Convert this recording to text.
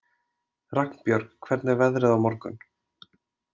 Ragnbjörg, hvernig er veðrið á morgun?